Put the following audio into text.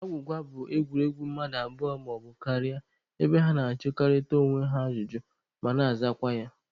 Agwụgwa bụ egwuregwu mmadụ abụọ maọbụ karịa ebe ha na-ajụkọrịta onwe ha ajụjụ ma na-azakwa ya